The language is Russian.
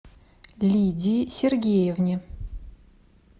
лидии сергеевне